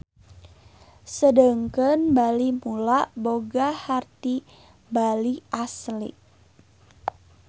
Sedengkeun Bali Mula boga harti Bali Asli.